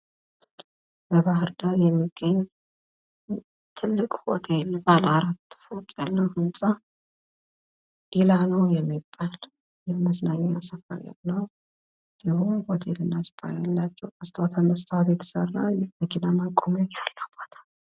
በባሕር ዳር የሚገኝ ትልቅ ሆቴል ባለ አራት ፎቅ ያለው ህንጻ ዲላኖ የመዝናኛ ስፍራ ያለው፤ ሙሉ ሆቴልና ስፓ ያለው የሚያምር አቋም ያለው ቦታ።